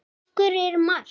Úr hverju er Mars?